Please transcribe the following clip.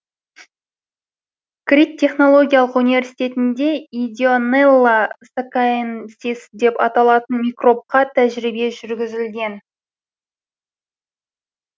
крит технологиялық университетінде идеонелла сакаенсис деп аталатын микробқа тәжірибе жүргізілген